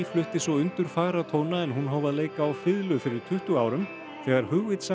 flutti svo undurfagra tóna en hún hóf að leika á fiðlu fyrir tuttugu árum þegar